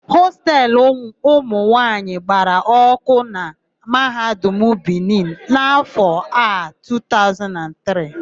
Hostelu ụmụnwaanyị gbara ọ́kụ́ na Mahadum Bini n'áfọ̀ a 2023.